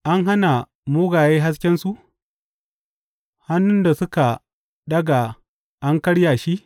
An hana mugaye haskensu, hannun da suka ɗaga an karya shi.